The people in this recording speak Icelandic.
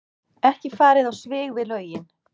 Ekki farið á svig við lögin